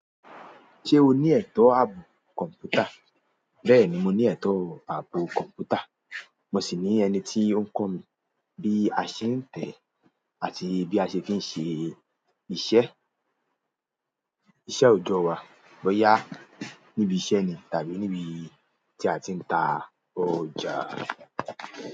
Ṣé o ní ẹ̀tọ́ ààbò kọ̀m̀pútà? Bẹ́ẹ̀ni, mo ní ẹ̀tọ́ ààbò kọ̀m̀pútà, mo sì ní ẹni tí ó ń kọ́ mi bí a ṣe ń tẹ̀ ẹ́ àti bí a ṣe fi n ṣe iṣẹ́, iṣẹ́ òjọ́ wa, bóyá níbi iṣẹ́ ni tàbí níbi tí a ti ń ta ọjà.